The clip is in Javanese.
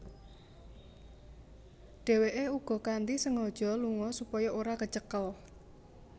Dheweke uga kanthi sengaja lunga supaya ora kecekel